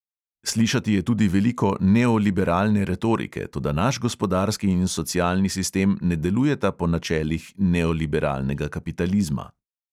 Slišati je tudi veliko neoliberalne retorike, toda naš gospodarski in socialni sistem ne delujeta po načelih neoliberalnega kapitalizma.